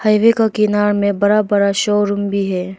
Highway का किनार में बड़ा बड़ा शोरूम भी है।